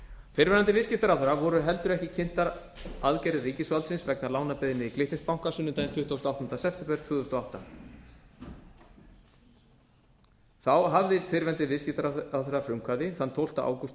fyrrverandi viðskiptaráðherra voru heldur ekki kynntar aðgerðir ríkisvaldsins vegna lánabeiðni glitnis banka sunnudaginn tuttugasta og áttunda september tvö þúsund og átta þá hafði fyrrverandi viðskiptaráðherra frumkvæði þann tólfta ágúst tvö